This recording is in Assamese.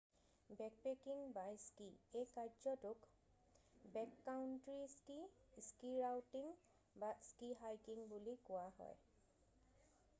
বেকপেকিং বাই স্কি এই কাৰ্যটোক বেককাউণ্ট্ৰি স্কি স্কি ৰাউটিং বা স্কি হাইকিং বুলি কোৱা হয়